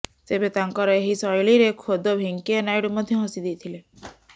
ତେବେ ତାଙ୍କର ଏହି ଶୈଳୀରେ ଖୋଦ ଭେଙ୍କିୟା ନାଇଡ଼ୁ ମଧ୍ୟ ହସି ଦେଇଥିଲେ